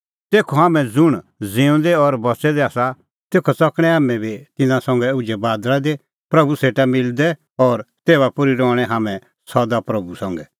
तेखअ हाम्हैं ज़ुंण ज़िऊंदै और बच़ै दै आसा तेखअ च़कणैं हाम्हैं बी तिन्नां संघै उझै बादल़ा दी प्रभू सेटा मिलदै और तेभा पोर्ही रहणैं हाम्हैं सदा प्रभू संघै